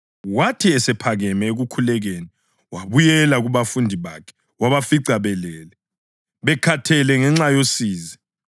Wathi esephakeme ekukhulekeni wabuyela kubafundi bakhe wabafica belele, bekhathele ngenxa yosizi.